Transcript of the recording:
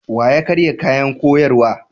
Wa ya karya kayan koyarwa?